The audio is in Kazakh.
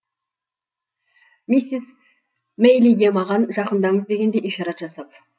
миссис мэйлиге маған жақындаңыз дегендей ишарат жасап